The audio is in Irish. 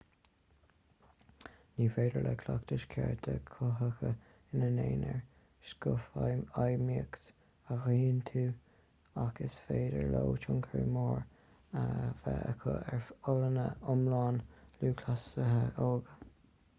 ní féidir le cleachtais chearta cothaithe ina n-aonar scothfheidhmíocht a ghiniúint ach is féidir leo tionchar mór a bheith acu ar fholláine iomlán lúthchleasaithe óga